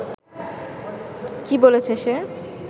কী বলেছে সে